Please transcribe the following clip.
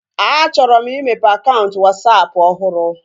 A chọrọ m imeghe akaụntụ Wasapụ ọhụrụ